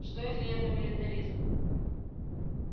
что если это милитаризм